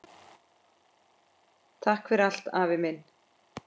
Takk fyrir allt, afi minn.